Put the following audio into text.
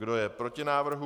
Kdo je proti návrhu?